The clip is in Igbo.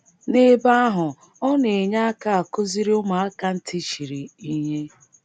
N’ebe ahụ, ọ na - enye aka akụziri ụmụaka ntị chiri ihe.